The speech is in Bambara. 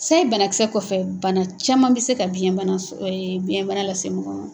Sayi banakisɛ kɔfɛ, bana caman bɛ se ka biyɛnbana lase mɔgɔ ma.